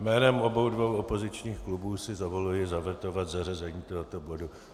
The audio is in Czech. Jménem obou dvou opozičních klubů si dovoluji zavetovat zařazení tohoto bodu.